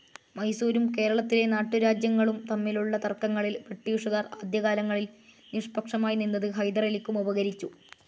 മൈസൂരും കേരളത്തിലെ നാട്ടുരാജ്യങ്ങളും തമ്മിലുള്ള തർക്കങ്ങളിൽ ബ്രിട്ടീഷുകാർ ആദ്യകാലങ്ങളിൽ നിഷ്പഷമായി നിന്നത് ഹൈദർ അലിക്കും ഉപകരിച്ചു.